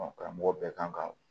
Ɔ karamɔgɔ bɛɛ kan ka